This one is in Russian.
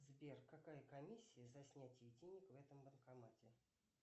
сбер какая комиссия за снятие денег в этом банкомате